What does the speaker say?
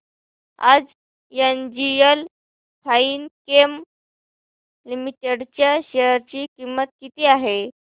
आज NGL Finechem limited च्या share ची किंमत किती आहे